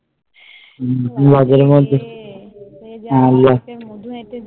হম বৌ আদরের মধ্যে